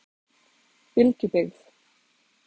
Bylgjubyggð